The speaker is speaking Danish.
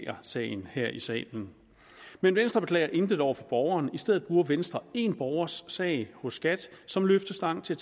sagen her i salen men venstre beklager intet over for borgeren i stedet bruger venstre en borgers sag hos skat som løftestang til